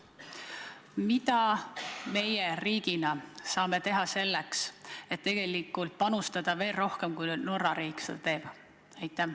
Mida meie riigina saame teha, et panustada ehk veel rohkem, kui Norra riik meie heaks teeb?